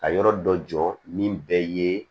Ka yɔrɔ dɔ jɔ min bɛɛ ye